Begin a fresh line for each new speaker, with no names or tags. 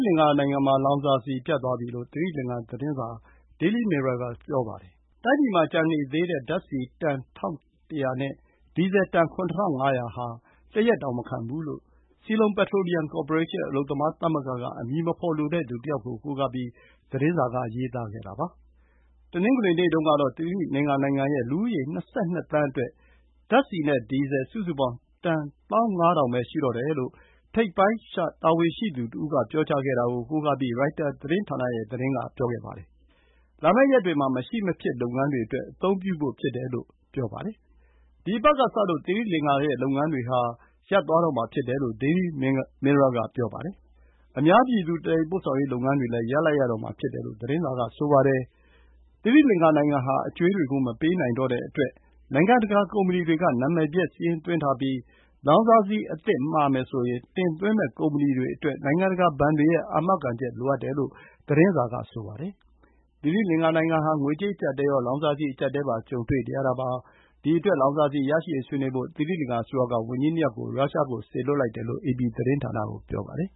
လင်္ကာ နိုင်ငံမှာ လောင်စာဆီ ပြတ်သွားပြီ လို့ သီရိလင်္ကာသတင်းစာ Daily Mirror က ဆိုပါတယ်။ တိုင်းပြည်မှာ ကျန်နေသေးတဲ့ဓာတ်ဆီ တန် ၁,၁၀၀ နဲ့ ဒီဇယ်တန် ၇,၅၀၀ ဟာ တရက်တောင်မခံဘူးလို့ Ceylon Petroleum Corporation အလုပ်သမား သမဂ္ဂက အမည်မဖော်လိုတဲ့သူတယောက်ကို ကိုးကားပြီး သတင်းစာက ရေးသားခဲ့တာပါ။ တနင်္ဂနွေနေ့တုန်းကတော့ သီရိလင်္ကာ နိုင်ငံရဲ့ လူဦးရေ ၂၂ သန်းအတွက် ဓာတ်ဆီနဲ့ ဒီဇယ် စုစုပေါင်း တန် ၁၅,၀၀၀ ပဲ ရှိတော့တယ်လို့ ထိပ်ပိုင်း တာဝန်ရှိသူတဦး ပြောတာကို ကိုးကားပြီး ရိုက်တာသတင်းဌာနက ပြောခဲ့ပါတယ်။ လာမယ့် ရက်တွေမှာ မရှိမဖြစ်လုပ်ငန်းတွေအတွက် အသုံးပြုဖို့ဖြစ်တယ်လို့ ဆိုပါတယ်။ ဒီအပတ်ကစလို့ သီရိလင်္ကာရဲ့လုပ်ငန်းတွေ ရပ်သွားတော့မှာ ဖြစ်တယ်လို့ Daily Mirror က ပြောပါတယ်။ အများပြည်သူ သယ်ယူပို့ဆောင်ရေးလုပ်ငန်းတွေလည်း ရပ်လိုက်ရတော့မှာ ဖြစ်တယ်လို့ သတင်းစာက ဆိုပါတယ်။ သီရိလင်္ကာ နိုင်ငံဟာ အကြွေးတွေကို မပေးနိုင်တဲ့အတွက် နိုင်ငံတကာကုမ္ပဏီတွေက နာမည်ပျက် စာရင်းသွင်းထားပြီး လောင်စာဆီ အသစ်မှာမယ်ဆိုရင် တင်သွင်းမယ့် ကုမ္ပဏီတွေအတွက် နိုင်ငံတကာဘဏ်တွေရဲ့ အာမခံချက်လိုအပ်တယ်လို့ သတင်းစာက ပြောပါတယ်။ သီရိလင်္ကာ နိုင်ငံဟာ ငွေကြေး အကျပ်အတည်းရော လောင်စာဆီ အကျပ်အတည်းပါ ကြုံတွေ့နေရတာပါ။ ဒီအတွက် လောင်စာဆီ ရရှိရေးဆွေးနွေးဖို့ သီရိလင်္ကာအစိုးရက ဝန်ကြီး ၂ ယောက်ကို ရုရှားကို စေလွှတ်လိုက်တယ်လို့ အေပီသတင်းဌာန က ပြောပါတယ်။